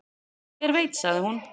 """Hver veit, sagði hún."""